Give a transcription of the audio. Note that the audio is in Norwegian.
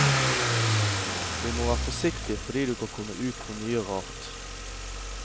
Du må være forsiktig fordi du kan komme ut for mye rart.